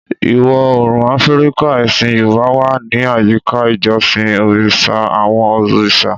Ìwọ̀ Oòrùn Áfíríkà, ẹ̀sìn Yorùbá wà ní àyíká ìjọsìn Orishas, àwọn òrìṣà.